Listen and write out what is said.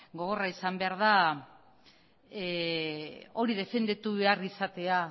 gogorra izan behar da hori defenditu behar izatea